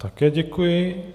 Také děkuji.